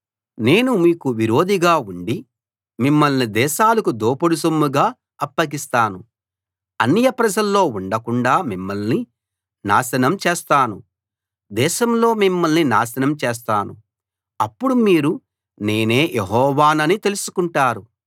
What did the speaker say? నేను మీకు విరోధిగా ఉండి మిమ్మల్ని దేశాలకు దోపుడు సొమ్ముగా అప్పగిస్తాను అన్యప్రజల్లో ఉండకుండాా మిమ్మల్ని నాశనం చేస్తాను దేశంలో మిమ్మల్ని నాశనం చేస్తాను అప్పుడు మీరు నేనే యెహోవానని తెలుసుకుంటారు